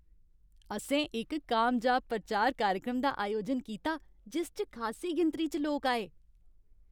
असें इक कामयाब प्रचार कार्यक्रम दा अयोजन कीता जिस च खासी गिनतरी च लोक आए।